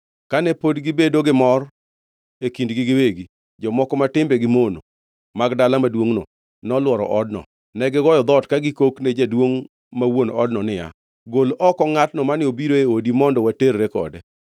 Kane pod gibedo gi mor e kindgi giwegi, jomoko ma timbegi mono mag dala maduongʼno nolworo odno. Negigoyo dhoot ka gikok ne jaduongʼ ma wuon odno niya, “Gol oko ngʼatno mane obiro e odi mondo waterre kode.”